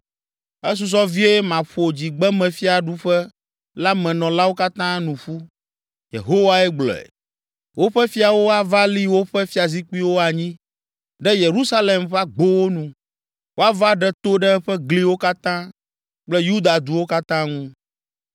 Esusɔ vie maƒo dzigbemefiaɖuƒe la me nɔlawo katã nu ƒu.” Yehowae gblɔe. “Woƒe fiawo ava li woƒe fiazikpuiwo anyi ɖe Yerusalem ƒe agbowo nu, woava ɖe to ɖe eƒe gliwo katã kple Yuda duwo katã ŋu.